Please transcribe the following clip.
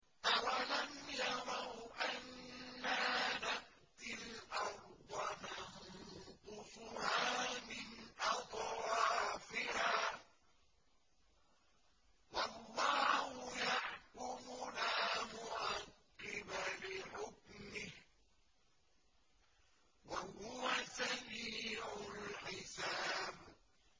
أَوَلَمْ يَرَوْا أَنَّا نَأْتِي الْأَرْضَ نَنقُصُهَا مِنْ أَطْرَافِهَا ۚ وَاللَّهُ يَحْكُمُ لَا مُعَقِّبَ لِحُكْمِهِ ۚ وَهُوَ سَرِيعُ الْحِسَابِ